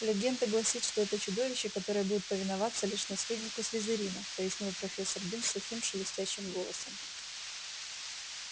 легенда гласит что это чудовище которое будет повиноваться лишь наследнику слизерина пояснил профессор бинс сухим шелестящим голосом